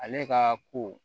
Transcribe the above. Ale ka ko